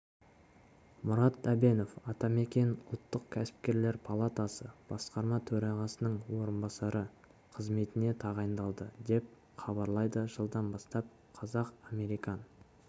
мұрат әбенов атамекен ұлттық кәсіпкерлер палатасы басқарма төрағасының орынбасары қызметіне тағайындалды деп хабарлайды жылдан бастап қазақ-американ